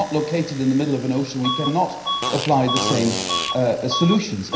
We are not located in the middle of an ocean. We cannot apply the same solutions.